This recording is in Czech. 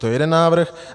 To je jeden návrh.